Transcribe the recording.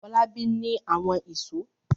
Fọlábí ní àwọn ìṣó.